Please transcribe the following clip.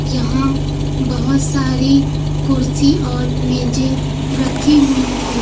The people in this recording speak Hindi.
यहां बहुत सारी कुर्सी और मेजे रखी हुई हैं।